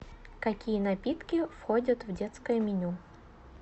какие напитки входят в детское меню